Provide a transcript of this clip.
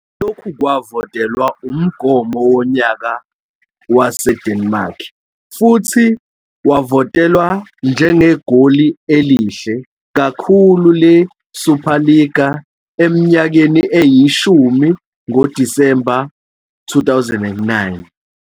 Lokhu kwavotelwa umgomo wonyaka waseDenmark, futhi wavotelwa njengegoli elihle kakhulu leSuperliga eminyakeni eyishumi ngoDisemba 2009.